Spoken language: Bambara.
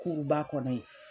ba kɔnɔ yen.